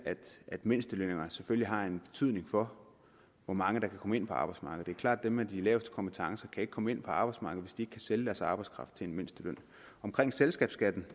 at mindstelønninger selvfølgelig har en betydning for hvor mange der kan komme ind på arbejdsmarkedet klart at dem med de laveste kompetencer ikke kan komme ind på arbejdsmarkedet hvis ikke kan sælge deres arbejdskraft til mindstelønnen omkring selskabsskatten